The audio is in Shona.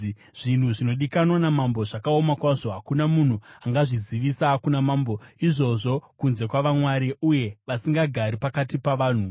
Zvinhu zvinodikanwa namambo zvakaoma kwazvo. Hakuna munhu angazvizivisa kuna mambo izvozvo kunze kwavamwari, uye vasingagari pakati pavanhu.”